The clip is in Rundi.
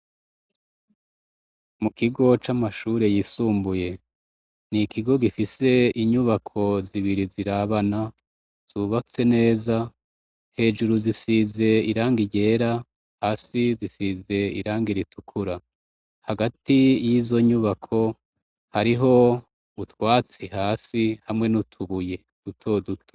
Mukigo c'amashure yisumbuye n'ikigo gifise inyubako zibiri zirabana ,zubatse neza hejuru zisize irangi ryera, hasi zisize irangi ritukura, hagati y'izo nyubako hariho utwatsi hasi hamwe n'utubuye duto duto.